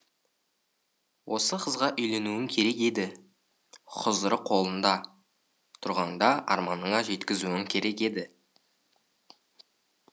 осы қызға үйленуің керек еді хұзыры қолыңда тұрғанда арманына жеткізуің керек еді